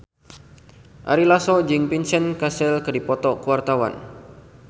Ari Lasso jeung Vincent Cassel keur dipoto ku wartawan